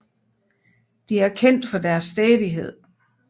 De er kendt for deres stædighed